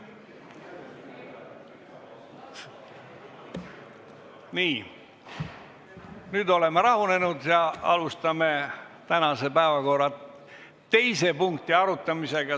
Nii, nüüd oleme rahunenud ja alustame tänase päevakorra teise punkti arutamist.